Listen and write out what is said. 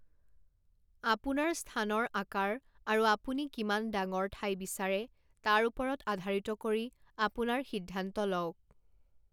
আপোনাৰ স্থানৰ আকাৰ আৰু আপুনি কিমান ডাঙৰ ঠাই বিচাৰে তাৰ ওপৰত আধাৰিত কৰি আপোনাৰ সিদ্ধান্ত লওক।